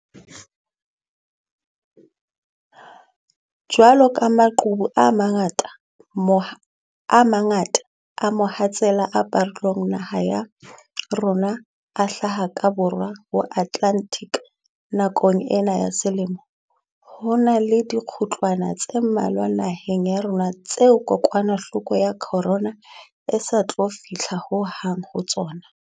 Jwaloka maqhubu a mangata a mohatsela a parolang naha ya rona a hlaha ka Borwa ho Atlantic nakong ena ya selemo, ho na le dikgutlwana tse mmalwa naheng ya rona tseo kokwanahloko ya corona e sa tlo fihla ho hang ho tsona.